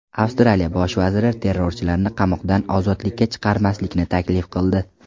Avstraliya bosh vaziri terrorchilarni qamoqdan ozodlikka chiqarmaslikni taklif qildi.